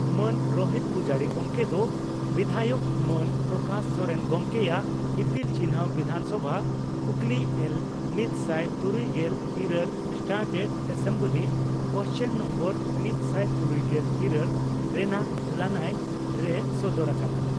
ᱢᱟᱱ ᱨᱳᱦᱤᱛ ᱯᱩᱡᱟᱨᱤ ᱜᱚᱢᱠᱮ ᱫᱚ ᱵᱤᱫᱷᱟᱭᱚᱠ ᱢᱟᱱ ᱯᱨᱚᱠᱟᱥ ᱥᱚᱨᱮᱱ ᱜᱚᱢᱠᱮᱭᱟᱜ ᱤᱯᱤᱞ ᱪᱤᱱᱦᱟᱹ ᱵᱤᱫᱷᱟᱱᱥᱚᱵᱷᱟ ᱠᱩᱠᱞᱤ ᱮᱞ ᱢᱤᱛᱥᱟᱭ ᱛᱩᱨᱩᱭᱜᱮᱞ ᱤᱨᱟᱹᱞ ᱥᱴᱟᱨᱴᱮᱰ ᱮᱥᱮᱢᱵᱞᱤ ᱠᱳᱥᱪᱟᱱ ᱱᱳᱢᱵᱚᱨ ᱢᱤᱛᱥᱟᱭ ᱛᱩᱨᱩᱭᱜᱮᱞ ᱤᱨᱟᱹᱞ ᱨᱮᱱᱟᱜ ᱞᱟᱹᱱᱟᱹᱭ ᱨᱮᱭ ᱥᱚᱫᱚᱨ ᱟᱠᱟᱫᱼᱟ ᱾